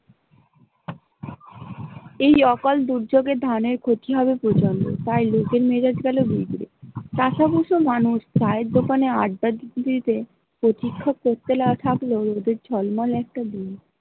এই অকাল দুর্যোগে ধানের ক্ষতি হবে প্রচণ্ড তাই লোকের মেজাজ গেলো বিকরে, চাষা বুস মানুষ চায়ের দোকানে আড্ডা দিতে দিতে প্রতীক্ষা করতে থাকলো উদের ঝলমলে একটা দিন।